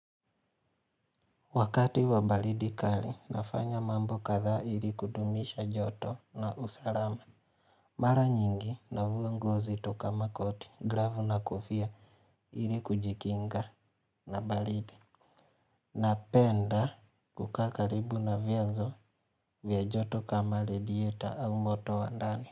Wakati wa baridi kali, nafanya mambo kathaa ili kudumisha joto na usalama. Mara nyingi, navua nguo nzito kama makoti, gravu na kofia, ili kujikinga na baridi. Napenda kukaa karibu na vyanzo vya joto kama ladieta au moto wa ndani.